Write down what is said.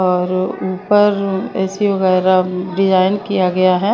और ऊपर ए_सी वगैरह डिजाइन किया गया है।